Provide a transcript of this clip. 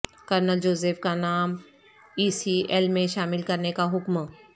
colonel Joseph کا نام E C L میں شامل کرنے کا حکم